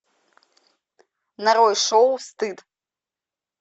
нарой шоу стыд